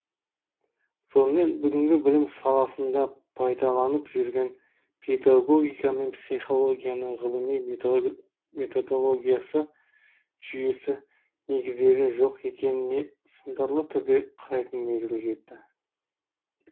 сонымен бүгінгі білім саласында пайдаланып жүрген педагогика мен психологияның ғылыми методологиясы жүйесі негіздері жоқ екеніне сындарлы түрде қарайтын мезгіл жетті